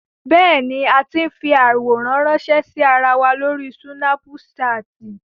Bẹ́ẹ̀ni, a ti ń fi àwòrán ránńṣẹ́ sí ara wa lórí súnápúṣaàtì.